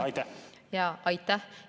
Aitäh!